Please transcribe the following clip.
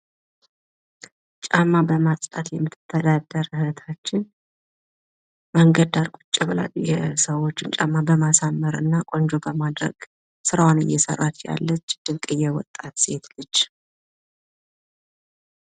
ጫማ በማጽዳት የምትተዳደር እህታችን መንገድ ዳር ቁጭ ብላ የሰዎችን ጫማ በማሳመር እና ቆንጆ በማድረግ ስራዋን እየሰራች ያለች እህታችን ድንቅዬ ወጣት ሴት ነች።